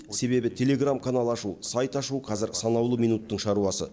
себебі телеграм канал ашу сайт ашу қәзір санаулы минуттың шаруасы